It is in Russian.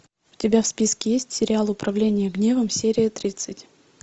у тебя в списке есть сериал управление гневом серия тридцать